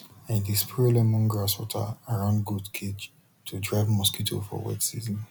i dey spray lemongrass water around goat cage to drive mosquito for wet season